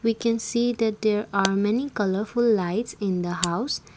we can see that there are many colourful lights in the house.